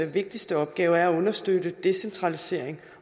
vigtigste opgave er at understøtte decentralisering